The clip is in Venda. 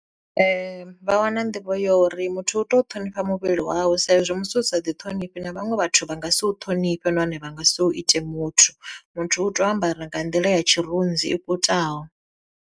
Vha wana nḓivho ya uri muthu u tea u ṱhonifha muvhili wawe sa izwi musi u sa ḓi thonifhi na vhaṅwe vhathu vha nga si u ṱhonifhe nahone vha nga si u ite muthu, muthu u tea u ambara nga nḓila ya tshirunzi i kutaho.